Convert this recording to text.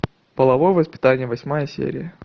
половое воспитание восьмая серия